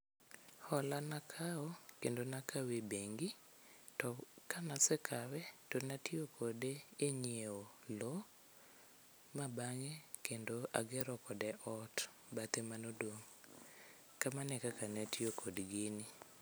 Hola nakawo kendo nakawe e bengi to kanasekawe to natiyo kode e nyieo lo ma bang'e kendo agero kode ot, bathe manodong'. kamano e kaka natiyo kod gini.